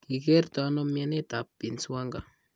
Ki kerto ano myentaap Binswanger?